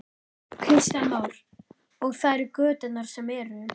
Kristján Már: Og það eru göturnar sem eru?